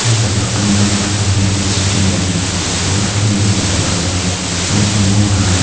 the bottom left a man is sitting and working with the flowers making more garland.